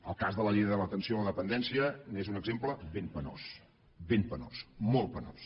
el cas de la llei de l’atenció a la dependència n’és un exemple ben penós ben penós molt penós